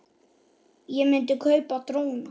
Ég myndi kaupa dróna.